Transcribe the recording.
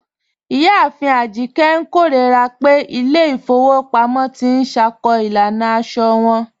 Iyáàfin Ajíkẹ̀ n kẹrọra pẹ̀ ilẹ̀ ifòwò pàmọ̀ tì n ṣákó ilànà àṣọ wọn.